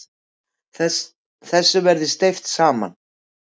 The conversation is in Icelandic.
Þessu verði steypt saman.